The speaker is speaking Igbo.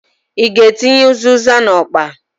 I g'atinye ụzịza n'ọkpa ahụǃ